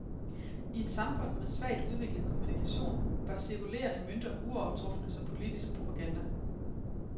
I et samfund med svagt udviklet kommunikation var cirkulerende mønter uovertrufne som politisk propaganda.